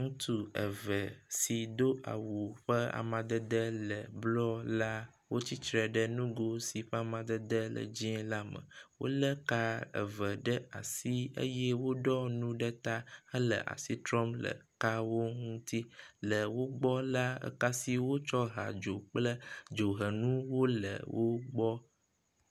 Ŋutsu eve si do awu ƒe amadede le blɔ la, wotsitre ɖe nugo si ƒe amadede le dzɛ̃ la me. Wolé ka eve ɖe asi eye woɖɔ nu ɖe ta hele asi trɔm ɖe ekawo eŋuti. Le wo gbɔ la, ka si wotsɔ hea dzo kple dzohenu wole wo gbɔ.